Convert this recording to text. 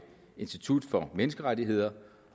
institut for menneskerettigheder